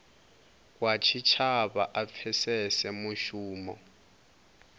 wa tshitshavha a pfesese mushumo